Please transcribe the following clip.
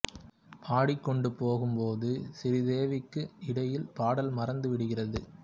பாடிக் கொண்டு போகும் போது சிறீதேவிக்கு இடையில் பாடல் மறந்து விடுகிறது